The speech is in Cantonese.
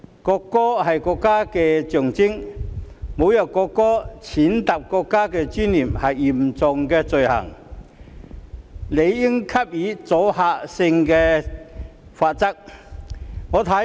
國歌是國家的象徵，侮辱國歌，踐踏國家尊嚴是嚴重罪行，理應給予阻嚇性的罰則。